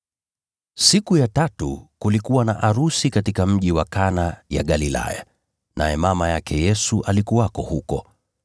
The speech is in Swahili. Siku ya tatu kulikuwa na arusi katika mji wa Kana ya Galilaya, naye mama yake Yesu alikuwepo pale.